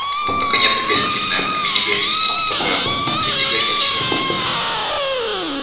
вот наконец и гостиная в камине горит сам собой огонь посреди горячего пепла